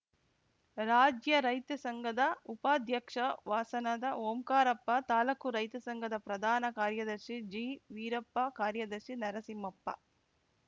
ರಾಜ್ಯ ರೈತ ಸಂಘದ ಉಪಾಧ್ಯಕ್ಷ ವಾಸನದ ಓಂಕಾರಪ್ಪ ತಾಲೂಕು ರೈತ ಸಂಘದ ಪ್ರಧಾನ ಕಾರ್ಯದರ್ಶಿ ಜಿವೀರಪ್ಪ ಕಾರ್ಯದರ್ಶಿ ನರಸಿಂಹಪ್ಪ